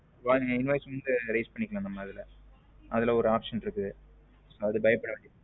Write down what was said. பாருங்க invoice வந்து raise பண்ணிக்கலாம் நம்ம இதுல அதுல ஒரு option இருக்குது அது பயப்பட வேண்டியதில்லை.